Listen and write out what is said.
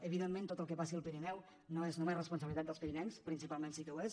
evidentment tot el que passi al pirineu no és només responsabilitat dels pirinencs principalment sí que ho és